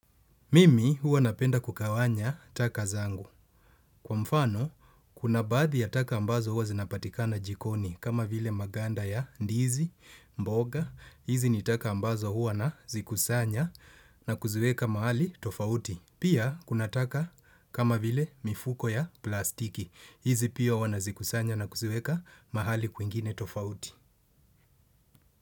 Mimi huwa napenda kugawanya taka zangu. Kwa mfano, kuna baadhi ya taka ambazo huwa zinapatikana jikoni kama vile maganda ya ndizi, mboga. Hizi ni taka ambazo huwa nazikusanya na kuziweka mahali tofauti. Pia, kuna taka kama vile mifuko ya plastiki. Hizi pia huwa nazikusanya na kuziweka mahali kwingine tofauti.